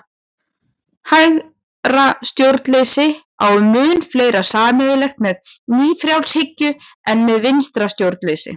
Hægra stjórnleysi á mun fleira sameiginlegt með nýfrjálshyggju en með vinstra stjórnleysi.